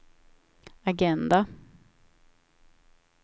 agenda